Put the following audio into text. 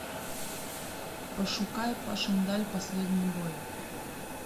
пошукай пашендаль последний бой